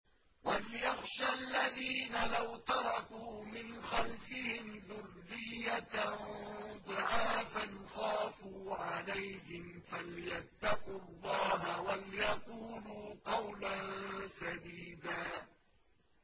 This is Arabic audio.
وَلْيَخْشَ الَّذِينَ لَوْ تَرَكُوا مِنْ خَلْفِهِمْ ذُرِّيَّةً ضِعَافًا خَافُوا عَلَيْهِمْ فَلْيَتَّقُوا اللَّهَ وَلْيَقُولُوا قَوْلًا سَدِيدًا